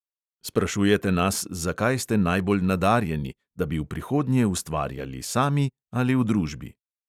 Sprašujete nas, za kaj ste najbolj nadarjeni, da bi v prihodnje ustvarjali sami ali v družbi.